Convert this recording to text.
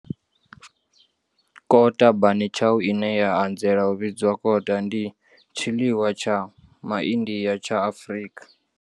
Kota bunny chow, ine ya anzela u vhidzwa kota, ndi tshiḽiwa tsha MaIndia tsha Afrika.